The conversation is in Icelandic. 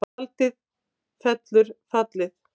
Tjaldið fellur fallið